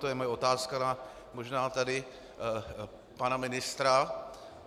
To je moje otázka na možná tady pana ministra.